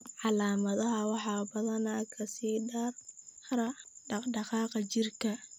Calaamadaha waxaa badanaa ka sii dara dhaqdhaqaaqa jirka.